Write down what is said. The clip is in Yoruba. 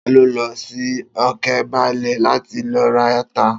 Ta ló lọ sí Òkebaálẹ̀ láti lọ ra ata?